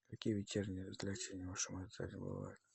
какие вечерние развлечения в вашем отеле бывают